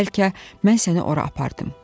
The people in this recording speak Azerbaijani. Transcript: Bəlkə mən səni ora apardım.